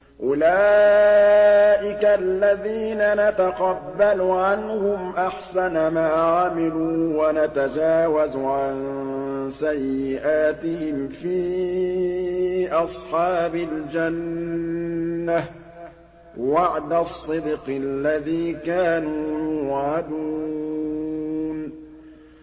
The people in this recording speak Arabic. أُولَٰئِكَ الَّذِينَ نَتَقَبَّلُ عَنْهُمْ أَحْسَنَ مَا عَمِلُوا وَنَتَجَاوَزُ عَن سَيِّئَاتِهِمْ فِي أَصْحَابِ الْجَنَّةِ ۖ وَعْدَ الصِّدْقِ الَّذِي كَانُوا يُوعَدُونَ